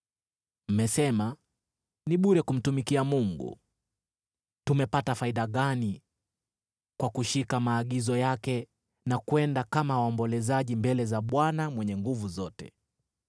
“Mmesema, ‘Ni bure kumtumikia Mungu. Tumepata faida gani kwa kushika maagizo yake na kwenda kama waombolezaji mbele za Bwana Mwenye Nguvu Zote?